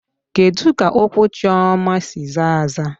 Kedu ka ụkwụ Chioma si zaa aza?